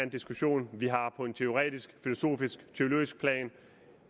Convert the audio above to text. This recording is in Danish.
diskussion vi har på en teoretisk filosofisk eller teologisk plan